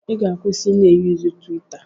Ị ga-akwụsị i na-eyuzu twitter.